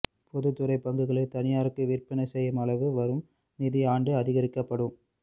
பொதுத்துறை பங்குகளை தனியாருக்கு விற்பனை செய்யும் அளவு வரும் நிதி ஆண்டு அதிகரிக்கப்படும்